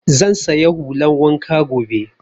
Zan saya hulan wanka gobe